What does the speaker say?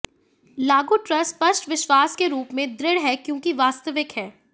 लागू ट्रस्ट स्पष्ट विश्वास के रूप में दृढ़ है क्योंकि वास्तविक है